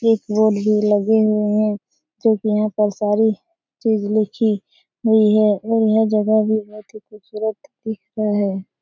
एक बोर्ड भी लगे हुए हैं यहाँ पर सारी चीज लखी हुई है ये जगह भी बहुत खूबसूरत ही दिख रहा है।